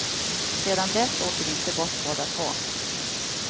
Sedan dess åker vi inte bort båda två.